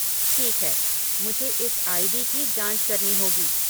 ठीक है, मुझे इस आई.डी. की जाँच करनी होगी।